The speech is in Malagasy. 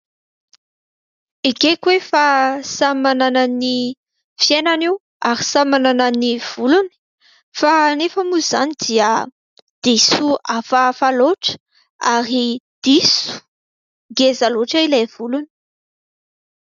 Ekeko hoe fa samy manana ny fiainany io ary samy manana ny volony fa nefa moa izany dia diso hafahafa loatra ary diso ngeza loatra ilay volony.